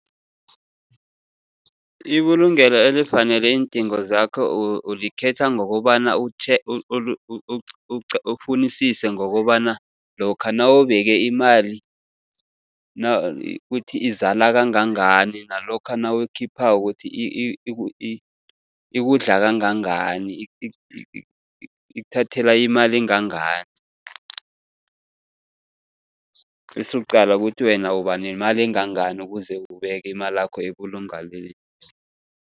Ibulungelo elifanele iindingo zakho ulikhetha ngokobana, ufunisise ngokobana lokha nawubeke imali kuthi izala kangangani, nalokha nawuyikhiphako kuthi ikudla kangangani, ikuthathela imali engangani. Bese uqala ukuthi wena uba nemali engangani ukuze ubeke imalakho ebulungelweni.